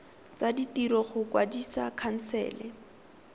tsa ditiro go kwadisa khansele